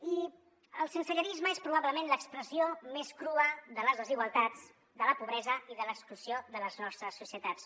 i el sensellarisme és probablement l’expressió més crua de les desigualtats de la pobresa i de l’exclusió de les nostres societats